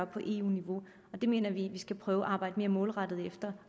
på eu niveau og det mener vi at vi skal prøve at arbejde mere målrettet efter